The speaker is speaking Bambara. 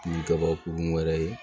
Ni kɛbakurun wɛrɛ ye